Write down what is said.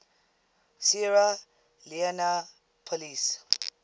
sierra leone police